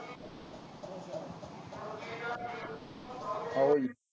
ਆਉ ਜੀ